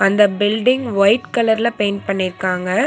இந்த building white கலர்ல paint பண்ணிருக்காங்க.